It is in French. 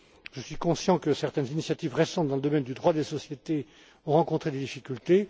Je suis conscient que certaines initiatives récentes dans le domaine du droit des sociétés ont rencontré des difficultés.